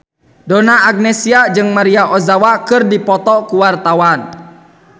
Donna Agnesia jeung Maria Ozawa keur dipoto ku wartawan